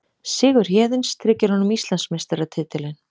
Sigur Héðins tryggir honum Íslandsmeistaratitilinn